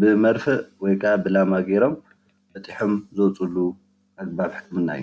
ብመርፍእ ወይ ብላማ ገይሮም በጢሖም ዘውፅእሉ ባህላዊ ህክምና እዩ።